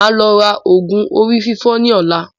Máa lọ ra oògùn orí fífọ́ ní ọ̀la